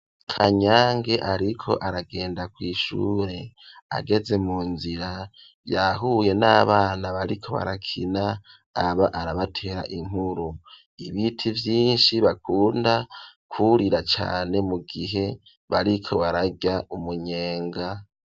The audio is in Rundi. Kanyange ariko aragenda kw'ishure, ageze mu nzira yahuye n'abana bariko barakina aba arabatera inkuru, ibiti vyinshi bakunda kurira cane mu gihe bariko bararya umunyenga.